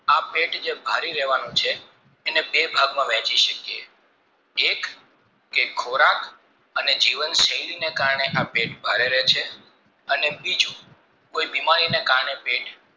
આ પેટ જે ભરી રેવાનું છે એને બે ભાગમાં વહેંચી શકીયે એક જે ખોરાક અને જીવન શૈલી ને કારણે આ પેટ ભારે રે છે અને બીજું કય બીમારીને કારણે પેટ